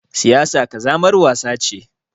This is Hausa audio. Siyasa ƙazamar wasa ce.